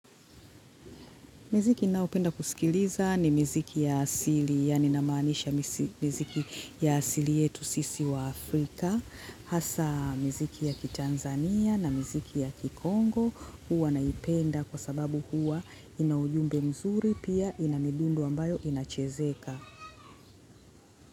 Muziki ninaopenda kusikiliza i muziki ya asili yaani namaanisha muziki ya asili yetu sisi waafrika hasa muziki ya ki Tanzania na muziki ya ki Congo huwa naipenda kwa sababu huwa inaujumbe mzuri pia ina midundo ambayo inachezeka.